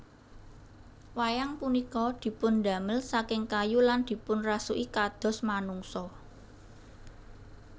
Wayang punika dipundamel saking kayu lan dipunrasuki kados manungsa